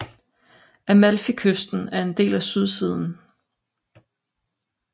Amalfikysten er en del af sydsiden